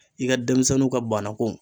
I ka denmisɛnnu ka banako